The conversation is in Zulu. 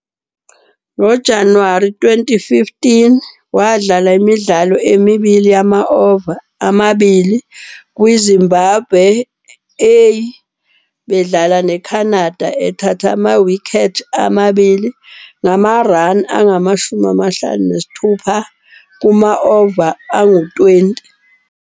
NgoJanuwari 2015 wadlala imidlalo emibili yama-over amabili kwiZimbabwe A bedlala neCanada, ethatha amawikhethi amabili ngama-run angama-56 kuma-over angu-20.